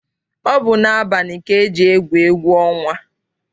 Ọ bụ n'abalị ka eji egwu egwu ọnwa.